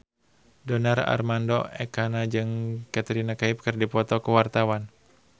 Donar Armando Ekana jeung Katrina Kaif keur dipoto ku wartawan